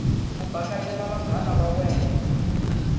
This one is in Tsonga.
ku bakanyela vanghana va wena